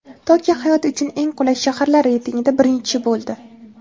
Tokio hayot uchun eng qulay shaharlar reytingida birinchi bo‘ldi.